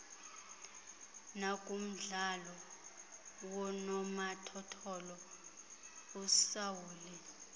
nakumdlalo woonomathotholo usaule